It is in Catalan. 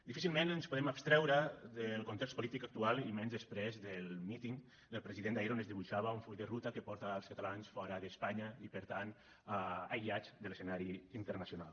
difícilment ens podem abstreure del context polític actual i menys després del míting del president d’ahir on es dibuixava un full de ruta que porta els catalans fora d’espanya i per tant aïllats de l’escenari internacional